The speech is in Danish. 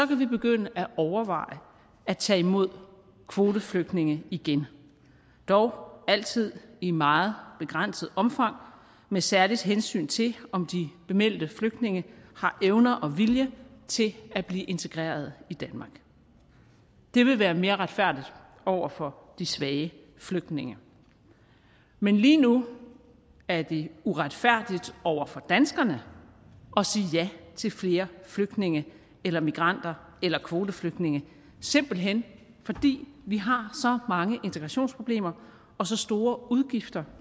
vi begynde at overveje at tage imod kvoteflygtninge igen dog altid i meget begrænset omfang med særligt hensyn til om de bemeldte flygtninge har evner og vilje til at blive integreret i danmark det vil være mere retfærdigt over for de svage flygtninge men lige nu er det uretfærdigt over for danskerne at sige ja til flere flygtninge eller migranter eller kvoteflygtninge simpelt hen fordi vi har så mange integrationsproblemer og så store udgifter